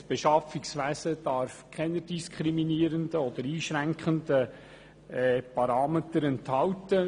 Das Beschaffungswesen darf keine diskriminierenden oder einschränkenden Parameter enthalten.